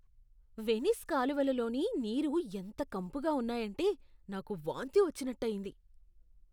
Venice కాలువలలోని నీరు ఎంత కంపుగా ఉన్నాయంటే నాకు వాంతి వచ్చినట్టు అయింది.